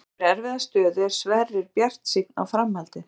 Þrátt fyrir erfiða stöðu er Sverrir bjartsýnn á framhaldið.